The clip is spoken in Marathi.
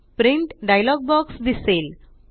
प्रिंट डायलॉग बॉक्स दिसेल